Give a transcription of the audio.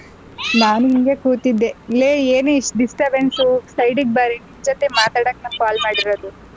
ನಾನು ಹಿಂಗೇ ಕೂತಿದ್ದೆ ಲೇ ಏನೇ ಇಷ್ಟೊಂದು disturbance side ಗ್ ಬಾರೆ ನಿನ್ ಜೊತೆ ನಾನ್ ಮಾತಡೋಕ್ call ಮಾಡಿರೋದು.